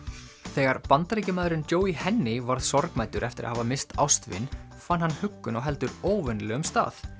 þegar Bandaríkjamaðurinn Joie Henney varð sorgmæddur eftir að hafa misst ástvin fann hann huggun á heldur óvenjulegum stað